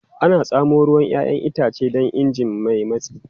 Ana tsamo ruwan 'ya'yan itace da ingin mai matsi.